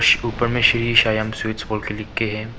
ऊपर में श्री श्याम स्वीट्स लिख के है।